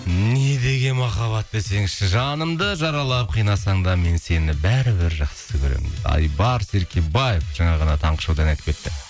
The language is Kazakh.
не деген махаббат десеңші жанымды жаралап қинасаң да мен сені бәрібір жақсы көрем айбар серкебаев жаңа ғана таңғы шоуда ән айтып кетті